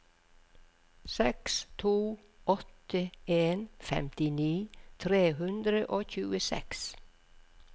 seks to åtte en femtini tre hundre og tjueseks